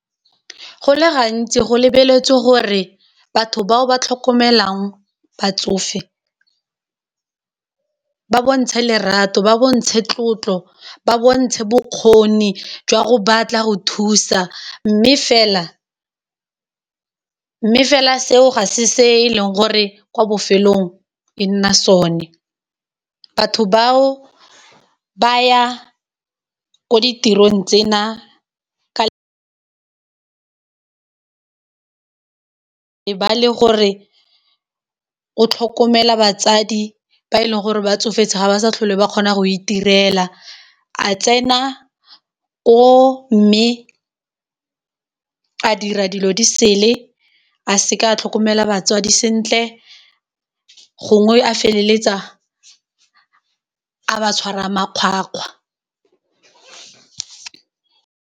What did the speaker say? Go le gantsi go lebeletswe gore batho bao ba tlhokomelang batsofe ba bontshe lerato, ba bontshe tlotlo, ba bontshe bokgoni jwa go batla go thusa, mme fela seo ga se se e leng gore kwa bofelong e nna sone, batho bao ba ya ko ditirong tsena ka e ba le gore o tlhokomela batswadi ba e leng gore ba tsofetse ga ba sa tlhole ba kgona go itirela a tsena ko mme a dira dilo di sele a seka a tlhokomela batswadi sentle, gongwe a feleletsa a ba tshwara a makgwakgwa.